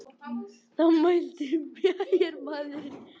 Þá mælti bæjarmaðurinn.